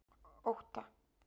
Ótta